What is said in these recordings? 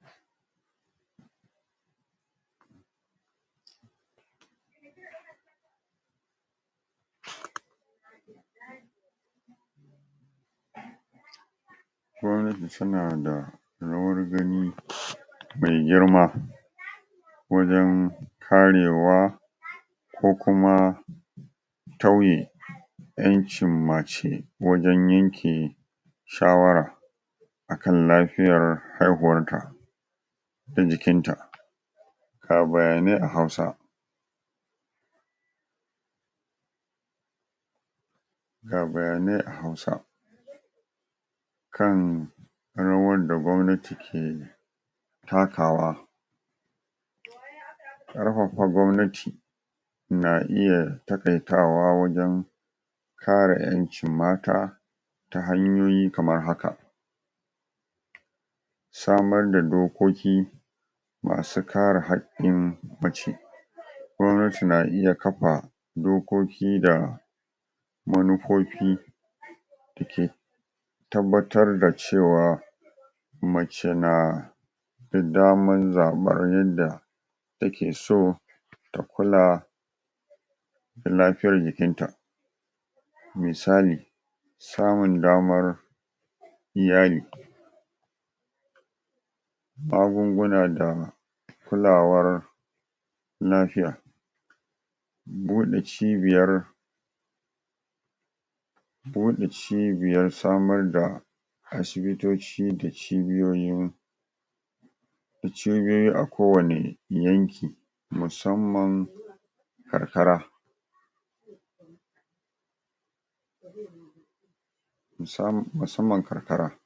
pause Gwabnati tana da rawar gani um mai girma wajen karewa ko kuma tauye ƴancin mace wajen yanke shawara akan lafiyar haihuwarka da jikinta ga bayanai a hausa pause ga bayanai a hausa kan rawar da gwabnati ke takawa ƙarfafa gwabnati na iya takaitawa wajen kare ƴan cin mata ta hanyoyi kamr haka samar da dokoki masu kare hakkin mace gwabnati na iya kafa dokoki da manufofi da ke tabbatar da cewa mace na da damar zaɓar yadda takeso ta kula lafiyar jikinta misali, samun damar iyali magunguna da kulawar lafiya buɗe cibyar buɗe cibiyar samar da asibitoci da cibiyoyin da cibiyoyi a kowane yanki musamman karkara pause musam.. musamman karkara pause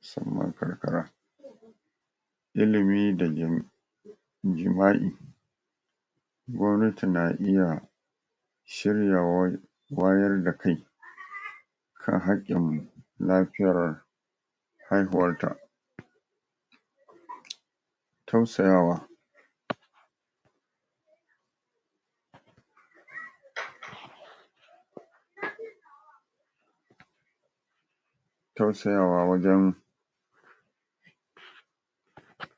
musamman karkara ilimi da jim.. jima'i gwabnati na iya shiryawar wayar da kai kan haƙƙin lafiyar haihuwarta um tausayawa um pause tausayawa wajen pause